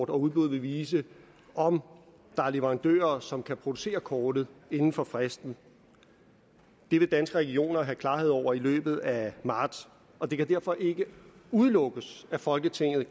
og udbuddet vil vise om der er leverandører som kan producere kortet inden for fristen det vil danske regioner have klarhed over i løbet af marts og det kan derfor ikke udelukkes at folketinget